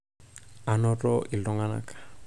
ainoto iltunganak